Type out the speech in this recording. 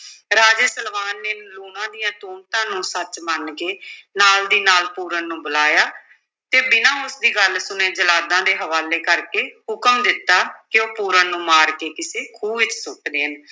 ਰਾਜੇ ਸਲਵਾਨ ਨੇ ਲੂਣਾ ਦੀਆਂ ਤੁਹਮਤਾਂ ਨੂੰ ਸੱਚ ਮੰਨ ਕੇ ਨਾਲ ਦੀ ਨਾਲ ਪੂਰਨ ਨੂੰ ਬੁਲਾਇਆ ਤੇ ਬਿਨਾਂ ਉਸ ਦੀ ਗੱਲ ਸੁਣੇ ਜਲਾਦਾਂ ਦੇ ਹਵਾਲੇ ਕਰਕੇ ਹੁਕਮ ਦਿੱਤਾ ਕਿ ਉਹ ਪੂਰਨ ਨੂੰ ਮਾਰ ਕੇ ਕਿਸੇ ਖੂਹ ਵਿੱਚ ਸੁੱਟ ਦੇਣ।